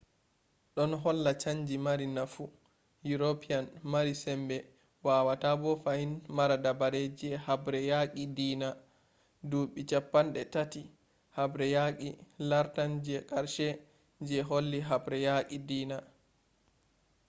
ɗon holla chanji mari nafu european mari sembe wawata bo fahin mara dabare je habre yaqi diina. duɓɓi cappanɗe tati’ haɓre yaqi lartan je qarshe je holli haɓre yaki diina